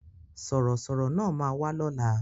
Sọ̀rọ̀ sọ̀rọ̀ náà ma wá lóla